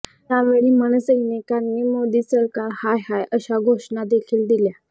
यावेळी मनसैनिकांनी मोदी सरकार हाय हाय अशा घोषणादेखील दिल्या